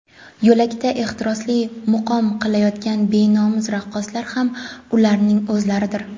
yo‘lakda ehtirosli muqom qilayotgan benomus raqqoslar ham ularning o‘zlaridir.